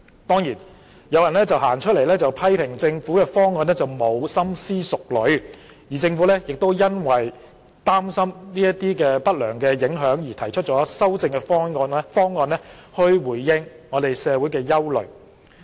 當然，有人批評政府的方案欠缺深思熟慮，政府亦因擔心這些不良的影響而提出了修正的方案去回應社會的憂慮。